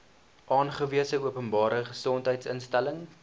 aangewese openbare gesondheidsinstelling